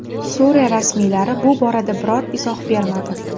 Suriya rasmiylari bu borada biror izoh bermadi.